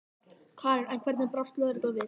Karen: En hvernig brást lögreglan við?